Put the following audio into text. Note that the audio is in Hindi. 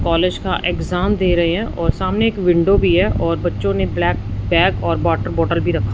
कॉलेज का एग्जाम दे रहे हैं और सामने एक विंडो भी है और बच्चों ने ब्लैक बैग और वॉटर बॉटल भी रखा--